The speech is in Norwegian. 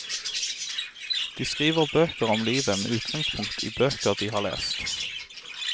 De skriver bøker om livet med utgangspunkt i bøker de har lest.